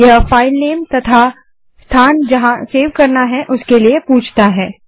यह फाइल नाम तथा स्थान जहाँ सेव करना है उसके लिए पूछता है